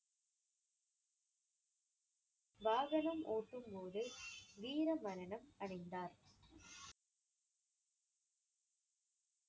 வாகனம் ஓட்டும்போது வீர மரணம் அடைந்தார்.